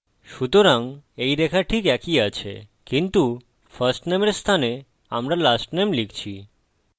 সুতরাং এই রেখা ঠিক একই আছে কিন্তু firstname এর স্থানে আমরা lastname লিখছি